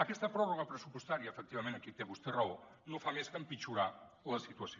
aquesta pròrroga pressupostària efectivament aquí té vostè raó no fa més que empitjorar la situació